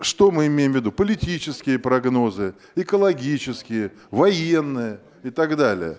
что мы имеем в виду политические прогнозы экологические военные и так далее